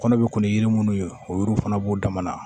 Kɔnɔ bɛ kun yiri minnu ye o yiriw fana b'u dama na